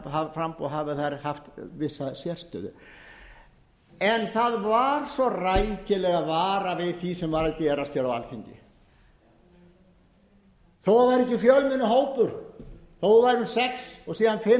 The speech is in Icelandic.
að vinstri hreyfingin grænt framboð hafi haft þar haft vissa sérstöðu en það var svo rækilega varað við því sem var að gerast á alþingi þó það væri ekki fjölmennur hópur þó það væru sex og síðan fimm